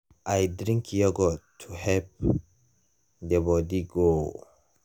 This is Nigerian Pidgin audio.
i drink yogurt to help the body grow.